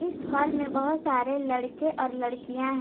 इस हॉल में बहोत सारे लड़के और लड़कियां हैं।